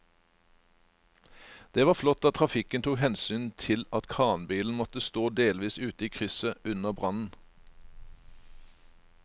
Det var flott at trafikken tok hensyn til at kranbilen måtte stå delvis ute i krysset under brannen.